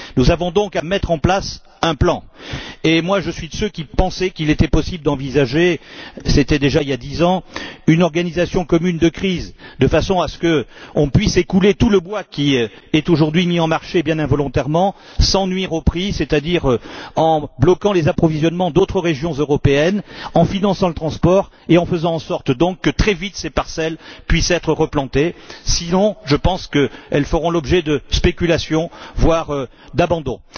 Nous devons donc mettre en place un plan, et moi je suis de ceux qui pensaient qu'il était possible d'envisager c'était déjà il y a dix ans une organisation commune de crise, de façon à ce qu'on puisse écouler tout le bois qui est aujourd'hui mis sur le marché bien involontairement, sans nuire au prix, c'est à dire en bloquant les approvisionnements d'autres régions européennes, en finançant le transport et en faisant en sorte que ces parcelles puissent être replantées très vite, sinon, je pense qu'elles feront l'objet de spéculations, voire d'abandon.